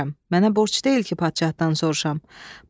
Mənə borc deyil ki, padşahdan soruşam.